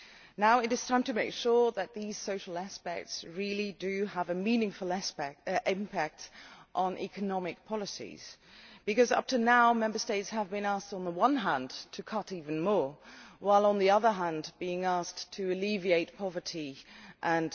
Now, it is time to make sure that these social considerations have a meaningful impact on economic policies, because up to now Member States have been asked on the one hand to cut even more, while, on the other hand, being asked to alleviate poverty